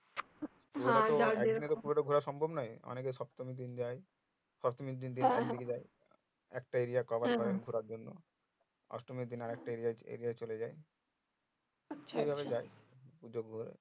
অনেকে সপ্তমীর দিন যাই অষ্টমীর দিন একটা cover ঘোড়ার জন্য অষ্টমীর দিন আরেকটা area এই চলে যাই পুজো গুলোই